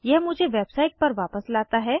यह मुझे वेबसाइट पर वापस लाता है